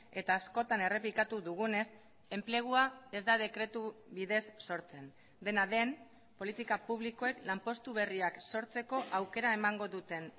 eta askotan errepikatu dugunez enplegua ez da dekretu bidez sortzen dena den politika publikoek lanpostu berriak sortzeko aukera emango duten